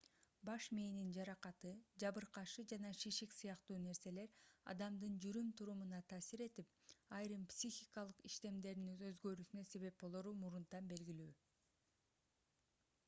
баш мээнин жаракаты жабыркашы жана шишик сыяктуу нерселер адамдын жүрүм-турумуна таасир этип айрым психикалык иштемдеринин өзгөрүүсүнө себеп болору мурунтан белгилүү